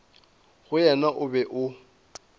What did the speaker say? go yena o be o